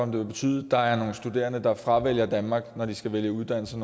det vil betyde at der er nogle studerende der fravælger danmark når de skal vælge uddannelse